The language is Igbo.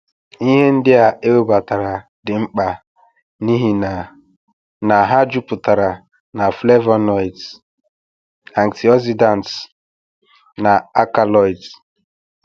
Ihe ndị a ewebatara dị mkpa n’ihi na na ha jupụtara na flavonoids, antioxidants, na alkaloids.